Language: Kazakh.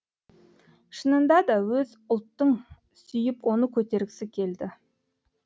шынында да өз ұлттың сүйіп оны көтергісі келді